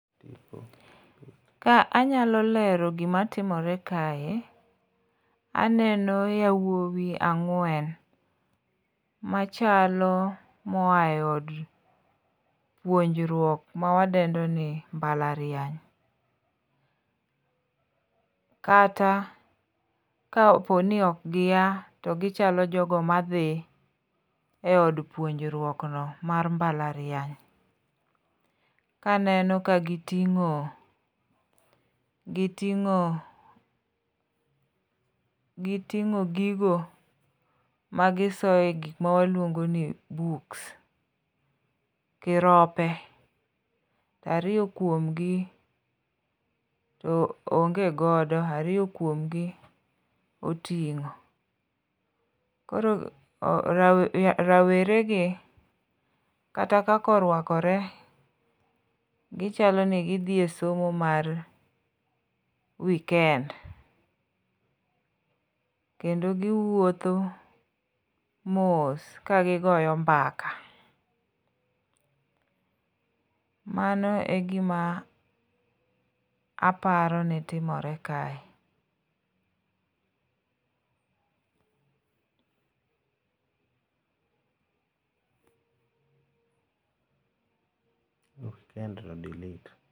Ka anyalo lero gimatimore kae, aneno yawuowi ang'wen machalo moa e od puonjruok mawadendo ni mbalariany, kata kapo ni ok gia to gichalo jogo madhi e od puonjruok no mar mbalariany, kaneno ka gitin'go gigo magiloso mawaluongo ni books gi rope, ariyo kuomgi onge godo, ariyo kuom gi oting'o. Koro raweregi kata kaka orwakore gichalo ni gidhi e somo mar weekend, kendo giwuotho mos kagigoyo mbaka, mano e gima aparo ni timore kae.